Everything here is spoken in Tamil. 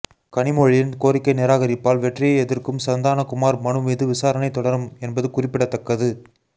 கனிமொழியின் கோரிக்கை நிராகரிப்பால் வெற்றியை எதிர்க்கும் சந்தானகுமார் மனு மீது விசாரணை தொடரும் என்பது குறிப்பிடத்தக்கது